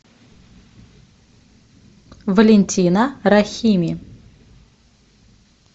валентина рахими